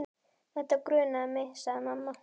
Þetta grunaði mig, sagði mamma.